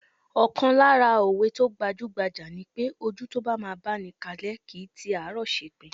Ọ̀kan lára òwe tó gbajúgbajà ni pé, ojú tó bá máa báni kalẹ́ kìí ti àárọ̀ ṣepin.